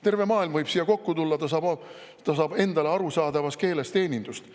Terve maailm võib siia kokku tulla, saavad endale arusaadavas keeles teenindust.